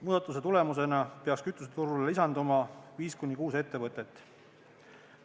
Muudatuse tulemusena peaks kütuseturule lisanduma viis kuni kuus ettevõtet.